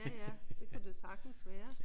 Ja ja. Det kunne det da sagtens være